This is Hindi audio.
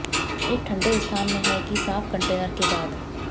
एक ठंडे स्थान में है कि साफ कंटेनर के बाद